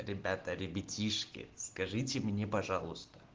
ребята ребятишки скажите мне пожалуйста